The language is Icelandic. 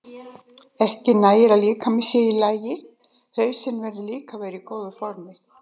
Ekki nægir að líkaminn sé í lagi, hausinn verður líka að vera í góðu formi.